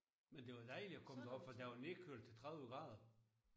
Men det var dejligt at komme derop for der var nedkølet til 30 grader